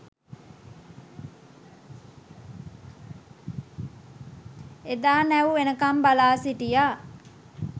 එදා නැව් එනකම් බලා සිටියා